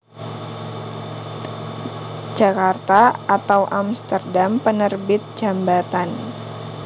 Djakarta/Amsterdam Penerbit Djambatan